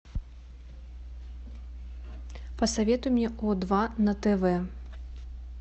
посоветуй мне о два на тв